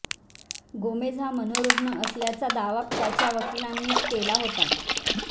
Gomez हा मनोरुग्ण असल्याचा दावा त्याच्या वकिलांनी केला होता